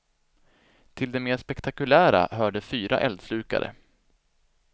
Till det mer spektakulära hörde fyra eldslukare.